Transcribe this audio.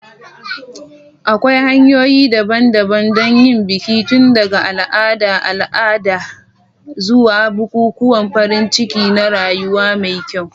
Akwai hanyoyi daban-daban don yin biki, tun daga al'adar al'ada zuwa bukukuwan farin ciki na rayuwa mai kyau.